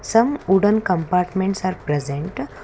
some wooden compartments are present.